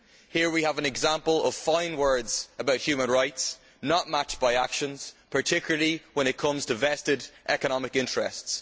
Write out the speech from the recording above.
Here we have an example of fine words about human rights not matched by actions, particularly when it comes to vested economic interests.